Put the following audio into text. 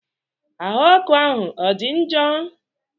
Ahụ ọkụ ahụ ọ dị njọ?